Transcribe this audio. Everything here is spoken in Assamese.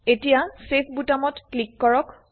এতিয়া চেভ বুতামত ক্লিক কৰক